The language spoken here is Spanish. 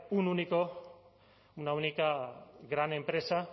un único una única gran empresa